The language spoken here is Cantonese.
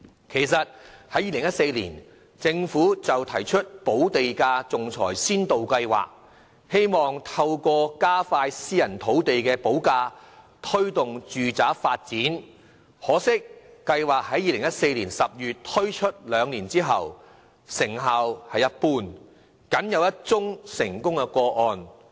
其實，在2014年，政府已推出"補地價仲裁先導計劃"，希望透過加快私人土地補價，推動住宅發展，可惜該計劃自2014年10月推出後，兩年多來成效一般，僅錄得一宗成功個案。